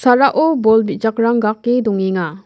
a·rao bol bijakrang ga·ake dongenga.